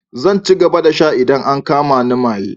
Zan ci gaba da sha idan an kama ni maye.